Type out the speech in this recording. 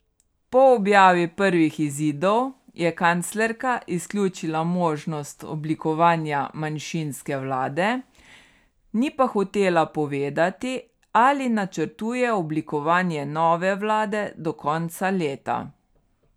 Po objavi prvih izidov je kanclerka izključila možnost oblikovanja manjšinske vlade, ni pa hotela povedati, ali načrtuje oblikovanje nove vlade do konca leta.